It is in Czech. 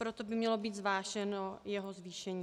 Proto by mělo být zváženo jeho zvýšení.